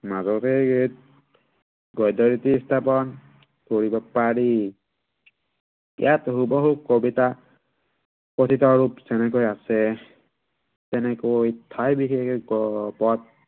মাজতে ইয়াক গদ্য়ৰীতি হিচাপে স্থাপন কৰিব পাৰি। ইয়াত হুবহু কবিতাৰ কথিত ৰূপ যেনেকে আছে তেনেকৈ ঠাই বিশেষে